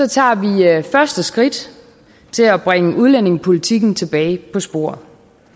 tager vi første skridt til at bringe udlændingepolitikken tilbage på sporet